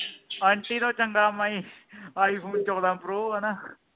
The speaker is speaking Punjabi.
ਆਂਟੀ ਤੋਂ ਚੰਗਾ ਮੈ ਈ iphone ਚੋਦਾਂ ਪ੍ਰੋ ਵ ਨਾ